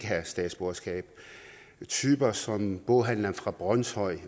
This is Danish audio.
have statsborgerskab typer som boghandleren fra brønshøj